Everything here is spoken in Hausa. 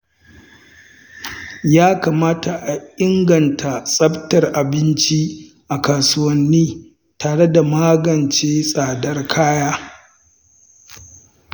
Ya kamata a inganta tsaftar abinci a kasuwanni tare da magance tsadar kaya.